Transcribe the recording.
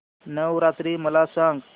नवरात्री मला सांगा